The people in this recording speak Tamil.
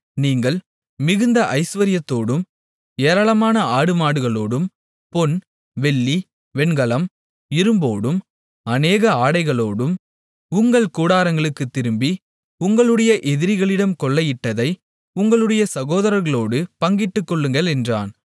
நீங்கள் மிகுந்த ஐசுவரியத்தோடும் ஏராளமான ஆடுமாடுகளோடும் பொன் வெள்ளி வெண்கலம் இரும்போடும் அநேக ஆடைகளோடும் உங்கள் கூடாரங்களுக்குத் திரும்பி உங்களுடைய எதிரிகளிடம் கொள்ளையிட்டதை உங்களுடைய சகோதரர்களோடு பங்கிட்டுக்கொள்ளுங்கள் என்றான்